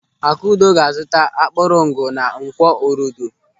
Akudo ga-azuta akpụrụngụ na Nkwọ Orodo.